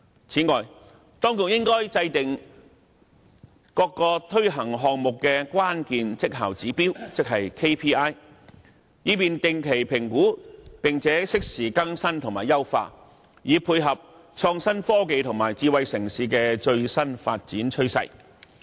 此外，當局應該制訂各個推行項目的關鍵績效指標，以進行定期評估，並適時更新和優化，以配合創新科技和智慧城市的最新發展趨勢。